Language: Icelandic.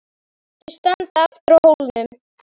Þau standa aftur á hólnum.